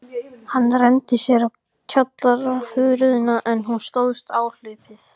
Hann renndi sér á kjallarahurðina, en hún stóðst áhlaupið.